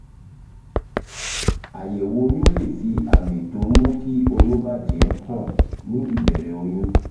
àyẹ̀wò oyún lè fi àmì tó ń mú kí oyún bà jẹ́ hàn ní ìbẹ̀rẹ̀ oyún